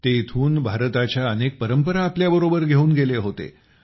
ते इथून भारताच्या अनेक परंपरा आपल्याबरोबर घेऊन गेले होते